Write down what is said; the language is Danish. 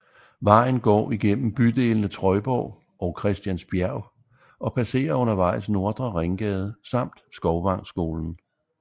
Vejen går igennem bydelene Trøjborg og Christiansbjerg og passerer undervejs Nordre Ringgade samt Skovvangskolen